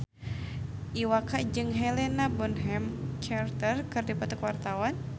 Iwa K jeung Helena Bonham Carter keur dipoto ku wartawan